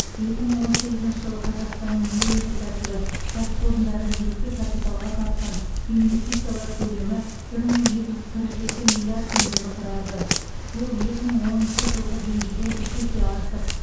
екі мың он сегізінші жылы қазақстанның өңдеу өнеркәсібі кәсіпорындары негізгі капиталға тартқан инветсициялар көлемі бір мың екі жүз қырық екі миллиард теңгені құрады бұл екі мың оныншы жылғы деңгейден үш есе артық